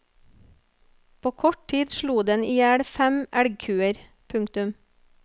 På kort tid slo den i hjel fem elgkuer. punktum